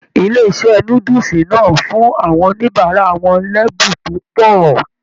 Ilé iṣẹ núdúsí náà fún àwọn oníbárà wọn l'ẹ́bùn tó pọ̀.